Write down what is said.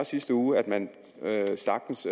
sidste uge at man sagtens